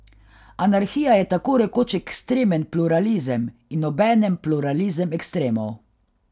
Anarhija je tako rekoč ekstremen pluralizem in obenem pluralizem ekstremov.